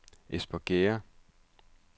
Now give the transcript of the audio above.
Espergærde